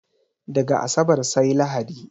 Daga asabar sai lahadi